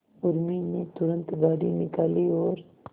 उर्मी ने तुरंत गाड़ी निकाली और